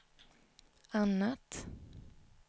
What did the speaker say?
annat